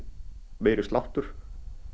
meiri sláttur